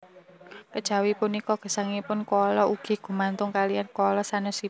Kejawi punika gesangipun koala ugi gumantung kaliyan koala sanésipun